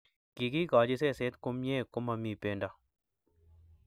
Kikikochi seset kumye ko mami bendo